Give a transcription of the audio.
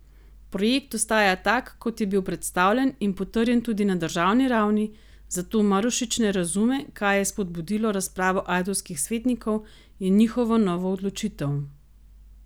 Projekt ostaja tak, kot je bil predstavljen in potrjen tudi na državni ravni, zato Marušič ne razume, kaj je spodbudilo razpravo ajdovskih svetnikov in njihovo novo odločitev.